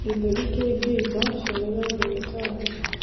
gĩthũri kĩngĩimba, cerera ndagĩtarĩ